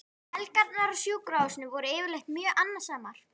Helgarnar á sjúkrahúsinu voru yfirleitt mjög annasamar.